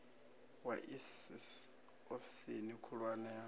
wa iss ofisini khulwane ya